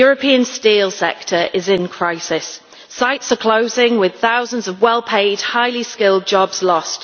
The European steel sector is in crisis. Sites are closing, with thousands of well paid highly skilled jobs lost.